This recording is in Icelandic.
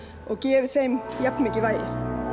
og gefið þeim jafn mikið vægi